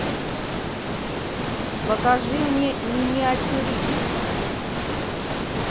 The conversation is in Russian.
покажи мне миниатюрист